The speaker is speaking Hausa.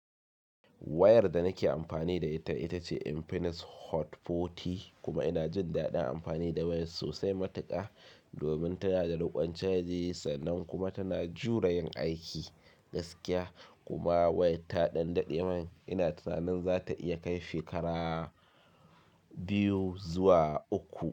Wayar da nake amfani da ita ita ce Infinix Hot 40 kuma ina jin daɗin amfani da wayar sosai matuƙa domin tana da riƙon caji sannan kuma tana jure yin aiki gaskiya kuma wayar ta ɗan daɗe man ina tunanin za ta iya kai shekara biyu zuwa uku.